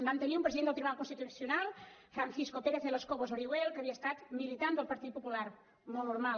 vam tenir un president del tribunal constitucional francisco pérez de los cobos orihuel que havia estat militant del partit popular molt normal